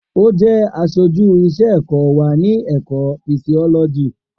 O jẹ aṣoju iṣẹ-ẹkọ wa ni Ẹka Fisioloji.